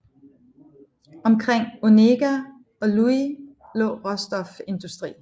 Omkring Onega og Louhi lå råstofindustri